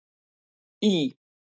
Í